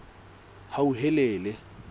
hauhelele